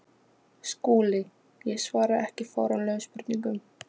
SKÚLI: Ég svara ekki fáránlegum spurningum.